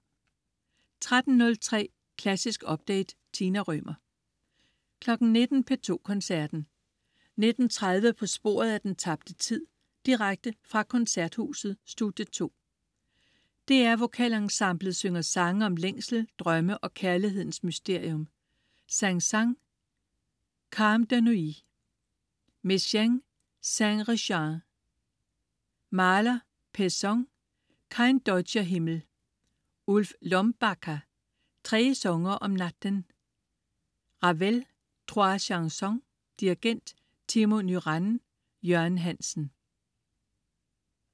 13.03 Klassisk update. Tina Rømer 19.00 P2 Koncerten. 19.30 På sporet af den tabte tid. Direkte fra Koncerthuset, Studie 2. DR VokalEnsemblet synger sange om længsel, drømme og kærlighedens mysterium. Saint-Saëns: Calme de Nuit. Messiaen Cinq rechants. Mahler/Pesson: Kein deutscher Himmel. Ulf Låmgbacka: Tre sånger om natten. Ravel: Trois chansons. Dirigent: Timo Nuranne. Jørgen Hansen